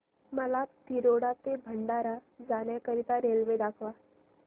मला तिरोडा ते भंडारा जाण्या करीता रेल्वे दाखवा